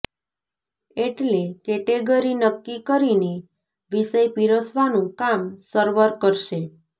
એટલે કેટેગરી નક્કી કરીને વિષય પીરસવાનું કામ સર્વર કરશે